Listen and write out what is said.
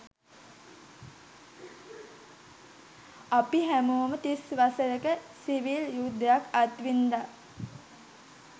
අපි හැමෝම තිස් වසරක සිවිල් යුද්ධයක් අත් වින්ද.